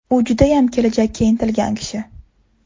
U judayam kelajakka intilgan kishi.